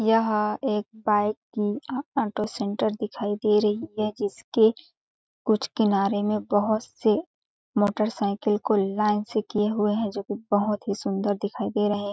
यहां एक गाड़ी की ऑटो सेंटर दिखाई दे रही है जिसके कुछ किनारे में बहुत से मोटरसाइकिल को लाइन से किए हुए हैं जो कि बहुत ही सुंदर दिखाई दे रहे हैं।